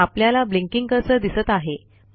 आपल्याला blinking cursor दिसत आहे